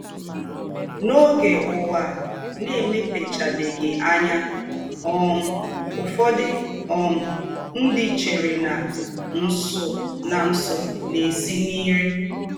N’ọge ụwa na - emepechabeghị anya um, ụfọdụ um ndị chere na nsụ na nsụ na - esi n’ire.